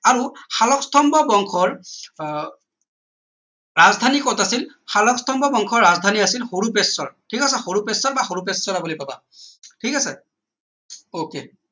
আৰু শালস্তম্ভ বংশৰ আহ ৰাজধানী কত আছিল শালস্তম্ভ বংশৰ ৰাজধানী আছিল হৰূপেশ্বৰ ঠিক আছে হৰূপেশ্বৰ বা হৰূপেশ্বৰা বুলি কবা ঠিক আছে ok